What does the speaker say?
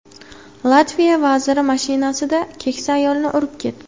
Latviya vaziri mashinasida keksa ayolni urib ketdi.